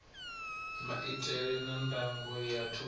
maitele a ndango ya thundu